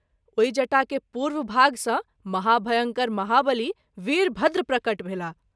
ओहि जटा के पूर्व भाग सँ महाभयंकर महाबली वीरभद्र प्रकट भेलाह।